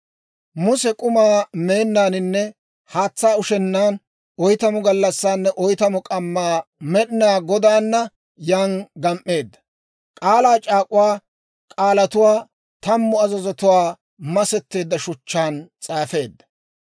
Muse k'umaa meennaaninne haatsaa ushennaan, oytamu gallassaanne oytamu k'ammaa Med'inaa Godaana yan gam"eedda; k'aalaa c'aak'uwaa k'aalatuwaa, tammu azazuwaa masetteedda shuchchaan s'aafeedda.